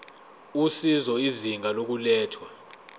usizo izinga lokulethwa